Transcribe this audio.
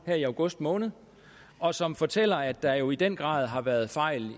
her i august måned og som fortæller at der jo i den grad har været fejl